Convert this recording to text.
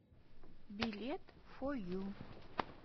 билет фо ю